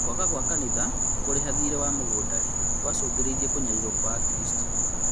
kwaga gwa kanitha kũrĩha thiirĩ wa mũgũnda rĩ gwacũngĩrĩirie kũnyarirwo gwa Akristiano